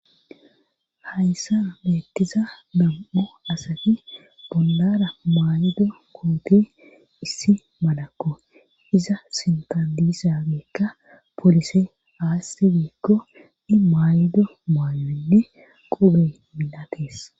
hayssa beettiza nam7u asati bondara maydo goote issi malakko iza sintadisageekka polise aasti biikko ni maaydo maayoynne qobey minatees